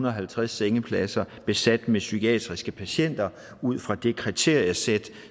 og halvtreds sengepladser besat med psykiatriske patienter ud fra det kriteriesæt